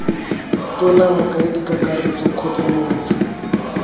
tona mokaedi kakaretso kgotsa motho